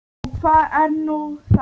Og hvað er nú það?